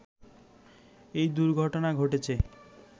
এ দুর্ঘটনা ঘটেছে